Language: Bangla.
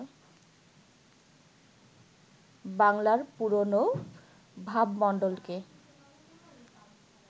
বাংলার পুরোনো ভাবমণ্ডলকে